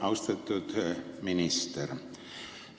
Austatud minister!